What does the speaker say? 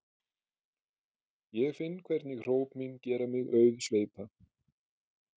Ég finn hvernig hróp mín gera mig auðsveipa.